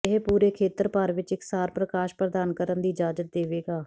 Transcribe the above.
ਇਹ ਪੂਰੇ ਖੇਤਰ ਭਰ ਵਿੱਚ ਇਕਸਾਰ ਪ੍ਰਕਾਸ਼ ਪ੍ਰਦਾਨ ਕਰਨ ਦੀ ਇਜਾਜ਼ਤ ਦੇਵੇਗਾ